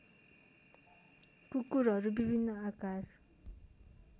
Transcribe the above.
कुकुरहरू विभिन्न आकार